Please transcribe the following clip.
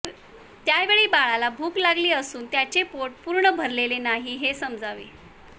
त्यावेळी बाळाला भूक लागली असून त्याचे पोट पूर्ण भरलेले नाही हे समजावे